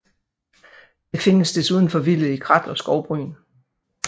Det findes desuden forvildet i krat og skovbryn